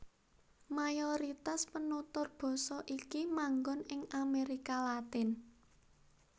Mayoritas penutur basa iki manggon ing Amérika Latin